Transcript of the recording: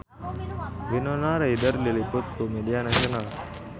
Winona Ryder diliput ku media nasional